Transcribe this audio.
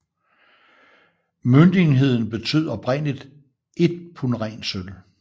Møntenheden betød oprindeligt ét pund ren sølv